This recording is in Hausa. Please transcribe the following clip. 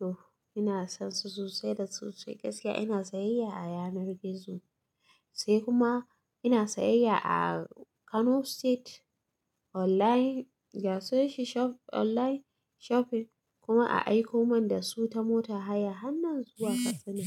to ina son su sosai da sosai gaskiya ina sayayya a yanar gizo sai kuma ina sayayya a Kano State online ya sashi online shopping kuma a aiko man da su ta mota haya hannun zuwa Katsina.